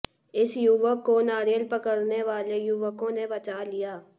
इस युवक को नारियल पकड़ने वाले युवकों ने बचा लिया